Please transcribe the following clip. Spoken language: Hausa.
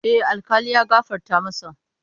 A'a, alkali ya gafarta masa.